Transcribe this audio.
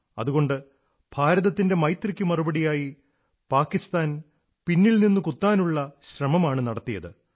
അതുകൊണ്ട് ഭാരതത്തിന്റെ മൈത്രിക്കു മറുപടിയായി പാകിസ്താൻ പിന്നിൽ നിന്നു കുത്താനുള്ള ശ്രമമാണു നടത്തിയത്